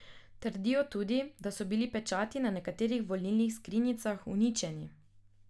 Trdijo tudi, da so bili pečati na nekaterih volilnih skrinjicah uničeni.